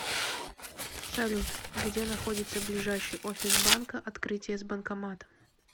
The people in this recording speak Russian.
салют где находится ближайший офис банка открытие с банкоматом